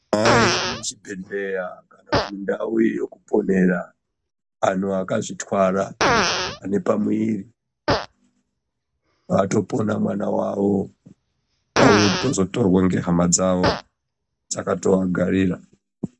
Ayi muchibhedhlera kana kuti mundau yekuponera antu akazvitwara kana antu ane pamuwiri paato pona mwana wavo vauye kuzoto torwe nehama dzavo dzakatovagarira.